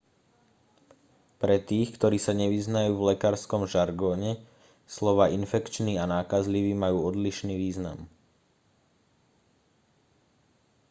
pre tých ktorí sa nevyznajú v lekárskom žargóne slová infekčný a nákazlivý majú odlišný význam